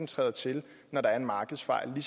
træder til når der er en markedsfejl vi